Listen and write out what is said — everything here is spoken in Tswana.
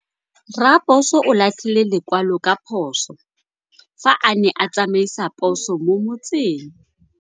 Raposo o latlhie lekwalô ka phosô fa a ne a tsamaisa poso mo motseng.